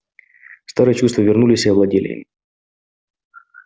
старые чувства вернулись и овладели им